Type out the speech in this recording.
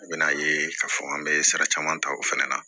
A bɛ n'a ye k'a fɔ an bɛ sara caman ta o fana na